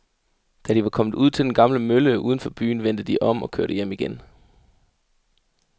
Da de var kommet ud til den gamle mølle uden for byen, vendte de om og kørte hjem igen.